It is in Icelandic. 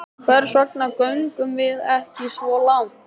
Hvers vegna göngum við ekki svo langt?